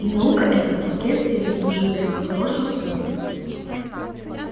и наука эта впоследствии сослужила ему хорошую службу